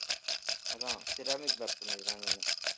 அதான் ceramic black பண்ணியிருக்காங்கன்னு